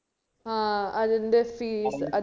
ഏർ അതിന്റെ fees